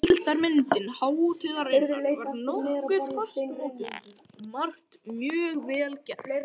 Heildarmynd hátíðarinnar var nokkuð fastmótuð og margt mjög vel gert.